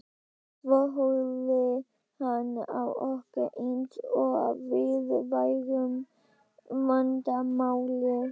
Svo horfði hann á okkur eins og við værum vandamálið.